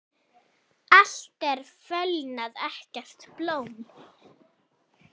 Allt er fölnað, ekkert blóm.